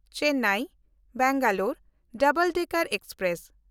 ᱪᱮᱱᱱᱟᱭ–ᱵᱮᱝᱜᱟᱞᱳᱨ double decker express